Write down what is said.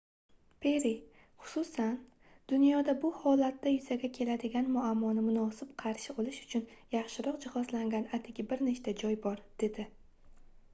perri xususan dunyoda bu holatda yuzaga keladigan muammoni munosib qarshi olish uchun yaxshiroq jihozlangan atigi bir nechta joy bor - dedi